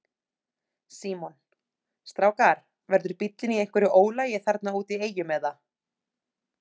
Símon: Strákar verður bíllinn í einhverju ólagi þarna úti í Eyjum eða?